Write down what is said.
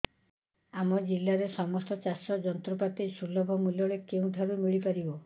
ଆମ ଜିଲ୍ଲାରେ ସମସ୍ତ ଚାଷ ଯନ୍ତ୍ରପାତି ସୁଲଭ ମୁଲ୍ଯରେ କେଉଁଠାରୁ ମିଳିବ